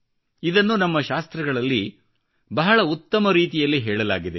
ಇದನ್ನು ನಮ್ಮ ಶಾಸ್ತ್ರಗಳಲ್ಲಿ ಬಹಳ ಉತ್ತಮ ರೀತಿಯಲ್ಲಿ ಹೇಳಲಾಗಿದೆ